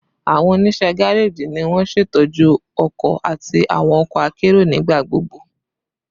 Awọn oniṣẹ gareji ni won ṣetọju ọkọ ati awọn ọkọ akero nigbagbogbo